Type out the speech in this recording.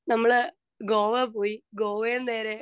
speaker 2 നമ്മൾ ഗോവ പോയി ഗോവയിൽ നിന്ന് നേരെ